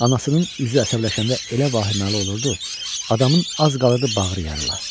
Anasının üzü əsəbləşəndə elə vahiməli olurdu, adamın az qalırdı bağrı yarıla.